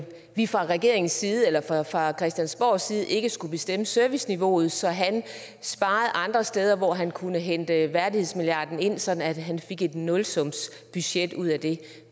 vi fra regeringens side eller fra christiansborgs side ikke skulle bestemme serviceniveauet så han sparede andre steder hvor han kunne hente værdighedsmilliarden ind sådan at han fik et nulsumsbudget ud af det